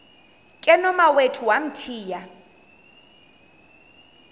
ke nomawethu wamthiya